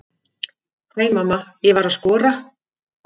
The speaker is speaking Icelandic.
Hæ mamma, ég var að skora!